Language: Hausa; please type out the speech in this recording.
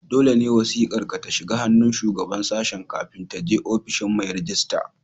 Dole ne wasiƙar ka ta shiga ta hannun Shugaban Sashen kafin ta je ofishin mai rejista.